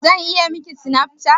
Zan iya Miki Snapchat?